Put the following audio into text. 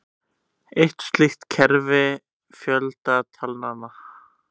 Eitt slíkt er kerfi fjöldatalnanna.